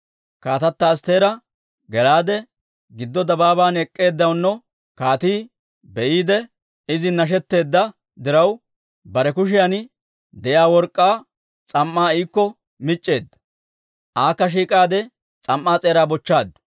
Kaatata Astteera gelaade, giddo dabaaban ek'k'eeddaano kaatii be'iide izin nashetteedda diraw, bare kushiyan de'iyaa work'k'aa s'am"aa iikko mic'c'eedda. Akka shiik'aade s'am"aa s'eeraa bochchaaddu.